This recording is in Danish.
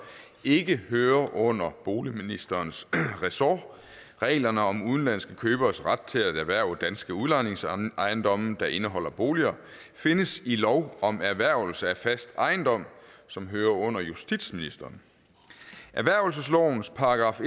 ikke hører under boligministerens resort reglerne om udenlandske køberes ret til at erhverve danske udlejningsejendomme der indeholder boliger findes i lov om erhvervelse af fast ejendom som hører under justitsministeren erhvervelseslovens §